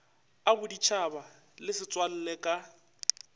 a boditšhaba le setswalle ka